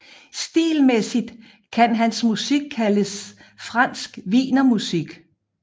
Stilmæssigt kan hans musik kaldes fransk wienermusik